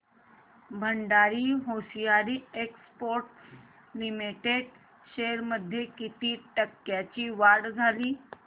Bhandari hosiery exports limited shares मध्ये किती टक्क्यांची वाढ झाली